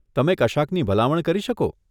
તમે કશાકની ભલામણ કરી શકો?